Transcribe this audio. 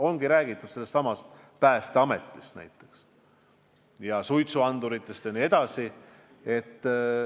On räägitud näiteks Päästeametist, suitsuanduritest jne.